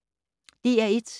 DR1